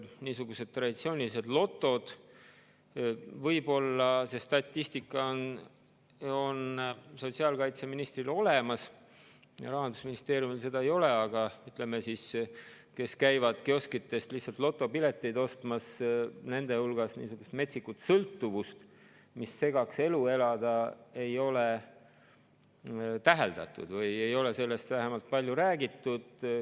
Niisugused traditsioonilised lotod – võib-olla see statistika on sotsiaalkaitseministril olemas, Rahandusministeeriumil seda ei ole –, ütleme, nende hulgas, kes käivad kioskitest lihtsalt lotopileteid ostmas, niisugust metsikut sõltuvust, mis segaks elu elada, ei tekita, seda ei ole täheldatud või ei ole sellest vähemalt palju räägitud.